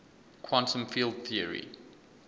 quantum field theory